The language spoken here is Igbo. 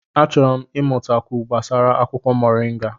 Achọrọ m ịmatakwu gbasara akwụkwọ moringa.